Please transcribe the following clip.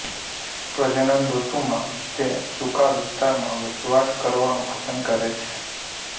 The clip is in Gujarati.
પ્રજનનઋતુમાં તે સૂકા વિસ્તારમાં વસવાટ કરવાનું પસંદ કરે છે